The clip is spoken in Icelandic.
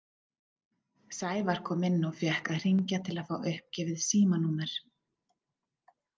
Sævar kom inn og fékk að hringja til að fá uppgefið símanúmer.